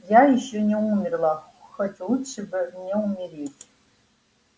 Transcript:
я ещё не умерла хоть лучше бы мне умереть